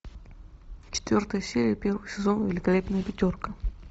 четвертая серия первый сезон великолепная пятерка